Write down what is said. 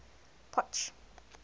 potch